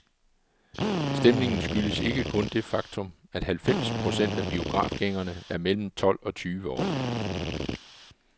Stemningen skyldes ikke kun det faktum, at halvfems procent af biografgængerne er mellem tolv og tyve år.